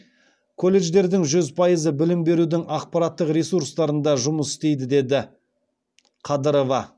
колледждердің жүз пайызы білім берудің ақпараттық ресурстарында жұмыс істейді деді қадырова